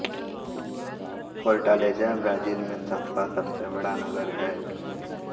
Fortaleza Brazil में सातवा सबसे बड़ा नगर है